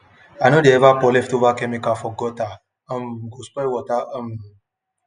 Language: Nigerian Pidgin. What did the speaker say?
i no dey ever pour leftover chemical for guttere um go spoil water um